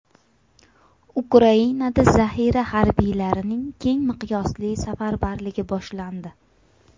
Ukrainada zaxira harbiylarining keng miqyosli safarbarligi boshlandi.